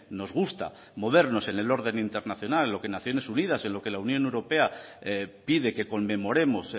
nos gusta movernos en el orden internacional lo que naciones unidas en lo que la unión europea pide que conmemoremos